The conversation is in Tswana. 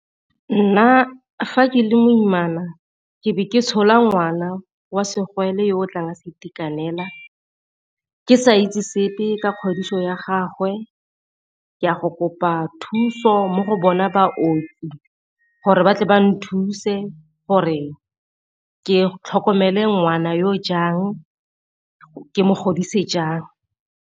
Nna fa ke le moimana ke be ke tshola ngwana wa segole yo o tlang a sa itekanela, ke sa itse sepe ka kgodiso ya gagwe ke a go kopa thuso mo go bona baoki gore ba tle ba nthuse gore ke tlhokomele ngwana yo jang ke mo godise jang.